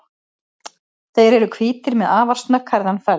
Þeir eru hvítir með afar snögghærðan feld.